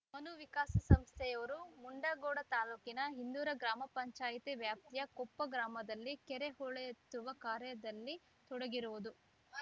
ಮನು ವಿಕಾಸ ಸಂಸ್ಥೆಯವರು ಮುಂಡಗೋಡ ತಾಲೂಕಿನ ಇಂದೂರ ಗ್ರಾಮ ಪಂಚಾಯತಿ ವ್ಯಾಪ್ತಿಯ ಕೊಪ್ಪ ಗ್ರಾಮದಲ್ಲಿ ಕೆರೆ ಹೂಳೆತ್ತುವ ಕಾರ್ಯದಲ್ಲಿ ತೊಡಗಿರುವುದು